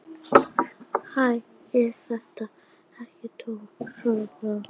Hæ, er þetta ekki Tóti sjálfur? heyrðist kallað.